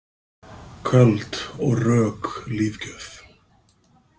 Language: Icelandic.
Köld og rök lífgjöf.